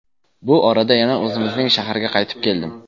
Bu orada yana o‘zimizning shaharga qaytib keldim.